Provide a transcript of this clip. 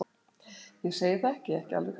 Ég segi það ekki. ekki alveg kannski.